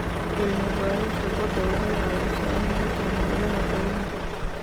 Cilmi-baarista badda waxay caawisaa in la fahmo ilaha kalluunka.